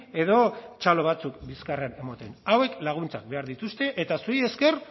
edo txalo batzuk bizkarrean ematen hauek laguntzak behar dituzte eta zuei esker